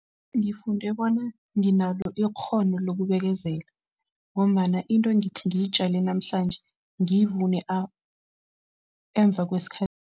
Ngifunde bona nginalo ikghono lokubekezela ngombana into ngithi ngiyitjale namhlanje, ngiyivune emva kwesikhathi.